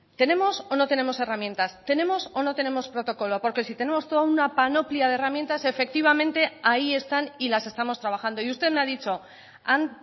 tenemos o no tenemos herramientas tenemos o no tenemos protocolo porque si tenemos toda una panoplia de herramientas efectivamente ahí están y las estamos trabajando y usted me ha dicho han